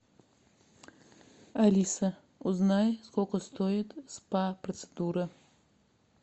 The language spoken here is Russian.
алиса узнай сколько стоят спа процедуры